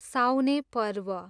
साउने पर्व